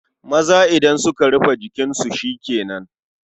Maza idan suka rufe jikinsu shi ke nan.